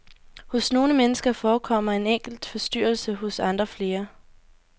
Hos nogle mennesker forekommer en enkelt forstyrrelse, hos andre flere.